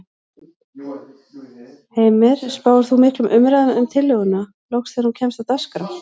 Heimir: Spáir þú miklum umræðum um tillöguna loks þegar hún kemst á dagskrá?